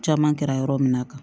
Caman kɛra yɔrɔ min na